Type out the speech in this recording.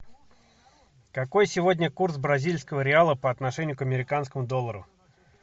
какой сегодня курс бразильского реала по отношению к американскому доллару